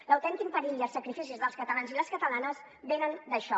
l’autèntic perill i els sacrificis dels catalans i les catalanes venen d’això